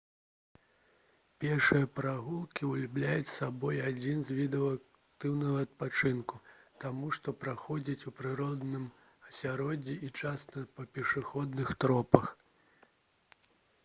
пешыя прагулкі ўяўляюць сабой адзін з відаў актыўнага адпачынку таму што праходзяць у прыродным асяроддзі і часта па пешаходных тропах